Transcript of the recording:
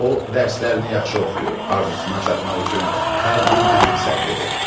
O dərslərini yaxşı oxuyur, arzusuna çatmaq üçün hər gün əmək sərf edir.